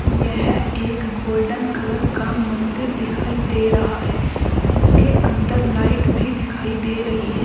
यह एक golden colour का मंदिर दिखाई दे रहा है जिसके अंदर लाइट भी दिखाई दे रही है।